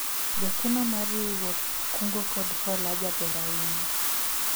jakeno mar riwruog kungo kod hola jaber ahinya